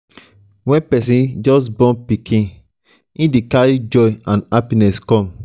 when person just just born pikin e dey carry joy and happiness come